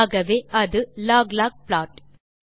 ஆகவே அது log log plot